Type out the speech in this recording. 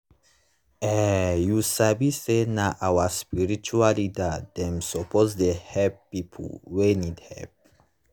eh u sabi say nah our spiritua leaders dem suppo dey helep pipu wey need helep